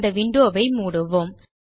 இந்த விண்டோ வை மூடுவோம்